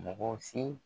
Mɔgɔ si